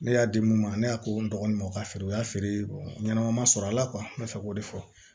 Ne y'a di mun ma ne y'a ko n dɔgɔnin ma o ka feere o y'a feere ɲɛnɛma ma sɔrɔ ala kuwa n bɛ fɛ k'o de fɔ